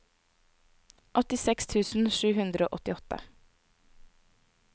åttiseks tusen sju hundre og åttiåtte